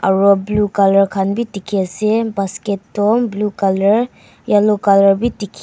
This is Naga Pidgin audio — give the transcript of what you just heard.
aro blue colour khan bi dikhi ase basket toh blue colour yellow colour wi dikhi.